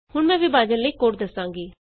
ਹੁਣ ਮੈਂ ਵਿਭਾਜਨ ਲਈ ਕੋਡ ਦਸਾਂਗੀ